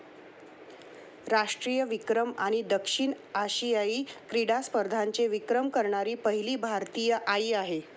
राष्ट्रीय विक्रम आणि दक्षिण आशियायी क्रिडा स्पर्धेचे विक्रम करणारी पहिली भारतीय आई आहे.